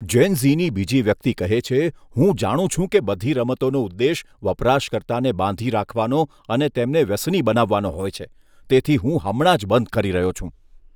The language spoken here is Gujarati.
જેન ઝીની બીજી વ્યક્તિ કહે છે, હું જાણું છું કે બધી રમતોનો ઉદ્દેશ વપરાશકર્તાને બાંધી રાખવાનો અને તેમને વ્યસની બનાવવાનો હોય છે, તેથી હું હમણાં જ બંધ કરી રહ્યો છું.